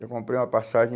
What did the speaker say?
Eu comprei uma passagem.